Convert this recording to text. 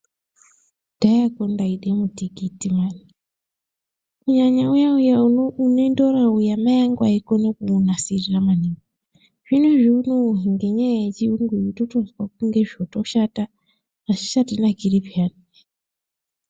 Kudhayakwo ndaida mutikiti mani kunyanya uya-uya unendora uya mai angu aikona kuunasira maningi, zvinezvi unowu ngenyaya yechiyungu totozwa kunge zvotoshata azvichatinakiri pheyani.